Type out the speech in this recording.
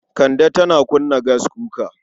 Kande tana kunna gaskuka.